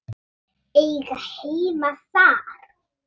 Eiga heima þar?